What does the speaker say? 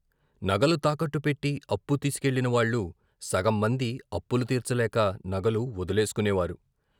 నగలు తాకట్టు పెట్టి అప్పులు తీసుకెళ్ళిన వాళ్ళు సగం మంది అప్పు తీర్చలేక నగలు వొదిలేసుకునే వారు.